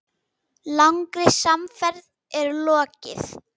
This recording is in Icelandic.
Langri samferð er lokið.